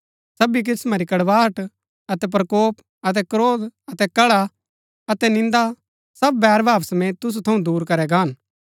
सबी किस्‍मां री कड़वाहट अतै प्रकोप अतै क्रोध अतै कलह अतै निन्दा सब बैरभाव समेत तुसु थऊँ दूर करै गाहन